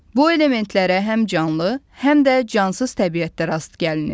Bu elementlərə həm canlı, həm də cansız təbiətdə rast gəlinir.